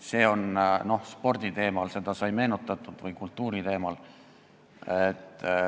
Sporditeemal või kultuuriteemal rääkides sai seda meenutatud.